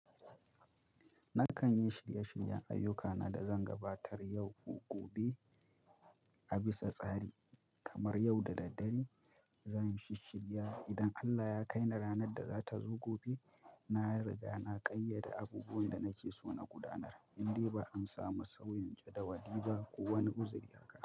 Nakan yi shirye-shiryen ayyukana da zan gabatar yau ko gobe a bisa tsari. Kamar yau da daddare, zan yi shish shirya idan Allah ya kai ni ranar da za ta zo gobe. Na riga na ƙayyade abubuwan da nake so na gudanar, indai ba an samu sauyin jadawali ba ko wani uzuri ya haka.